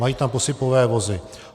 Mají tam posypové vozy.